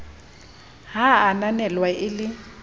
ha a ananelwe e le